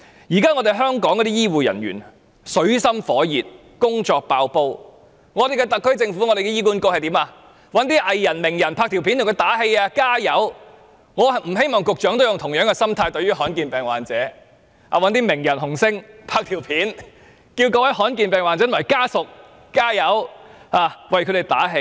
現時香港的醫護人員正處於水深火熱，工作爆煲，特區政府和醫管局卻找來藝人、名人拍片為他們加油打氣，我不希望局長對於罕見疾病患者，都用同樣的心態，找名人、紅星拍片，叫罕見疾病患者及家屬加油，為他們打氣。